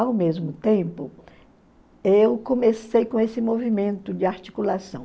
Ao mesmo tempo, eu comecei com esse movimento de articulação.